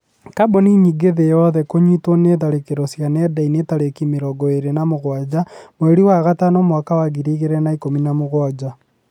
Kambuni nyingĩ thĩ yothe kũnyitwo nĩ tharĩkĩro cia nenda-inĩ tarĩki mĩrongo ĩrĩ na mũgwanja mweri wa gatano mwaka wa ngiri igĩrĩ na ikũmi na mũgwanja